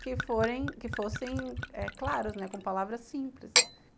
que forem que fossem claros, com palavras simples.